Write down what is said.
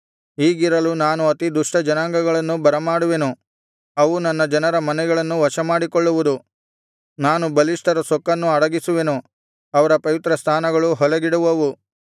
ಹೀಗಿರಲು ನಾನು ಅತಿ ದುಷ್ಟ ಜನಾಂಗಗಳನ್ನು ಬರಮಾಡುವೆನು ಅವು ನನ್ನ ಜನರ ಮನೆಗಳನ್ನು ವಶಮಾಡಿಕೊಳ್ಳುವುದು ನಾನು ಬಲಿಷ್ಠರ ಸೊಕ್ಕನ್ನು ಅಡಗಿಸುವೆನು ಅವರ ಪವಿತ್ರ ಸ್ಥಾನಗಳು ಹೊಲೆಗೆಡುವವು